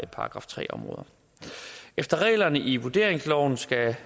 § tre områderne efter reglerne i vurderingsloven skal